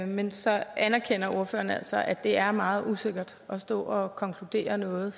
men så anerkender ordføreren altså at det er meget usikkert at stå og konkludere noget